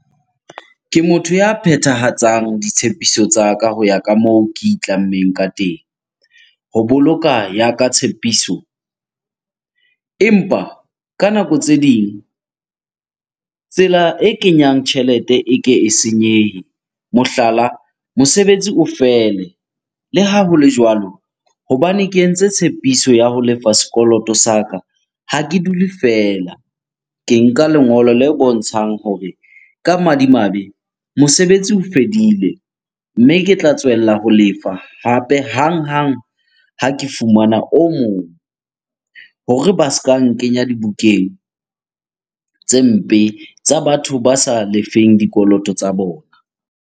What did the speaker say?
Ke motho ya phethahatsang ditshepiso tsa ka ho ya ka moo ke itlammeng ka teng ho boloka ya ka tshepiso. Empa ka nako tse ding, tsela e kenyang tjhelete e ke e senyehe mohlala, mosebetsi o fele. Le ha hole jwalo, hobane ke entse tshepiso ya ho lefa sekoloto sa ka, ha ke dule feela. Ke nka lengolo le bontshang hore ka madimabe mosebetsi o fedile, mme ke tla tswella ho lefa hape hanghang ha ke fumana o mong hore ba ska nkenya dibukeng tse mpe tsa batho ba sa lefeng dikoloto tsa bona.